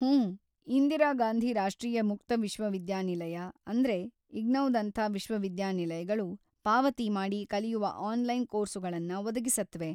ಹೂಂ, ಇಂದಿರಾ ಗಾಂಧಿ ರಾಷ್ಟ್ರೀಯ ಮುಕ್ತ ವಿಶ್ವವಿದ್ಯಾನಿಲಯ, ಅಂದ್ರೆ ಇಗ್ನೌದಂಥ ವಿಶ್ವವಿದ್ಯಾನಿಲಯಗಳು, ಪಾವತಿ ಮಾಡಿ ಕಲಿಯುವ ಆನ್‌ಲೈನ್‌ ಕೋರ್ಸುಗಳನ್ನ ಒದಗಿಸತ್ವೆ.